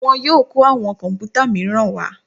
Wọ́n yóò kọ́ àwọn kọ̀m̀pútà míràn wá.